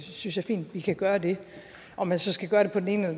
synes jeg fint vi kan gøre det om man så skal gøre det på den ene